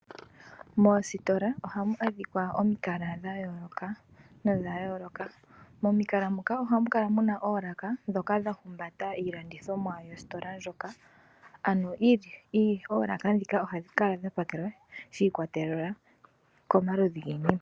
Moositola ohamu adhikwa omikala dhayooloka nodhayooloka. Momikala muka ohamu kala muna oolaka dhoka dhahumbata iilandithomwa yositola ndjoka, ano oolaka dhika odhadhikala dhapakelwa shi ikwatelela komaludhi giinima.